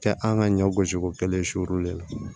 Kɛ an ka ɲɔ gosiko kelen siw de la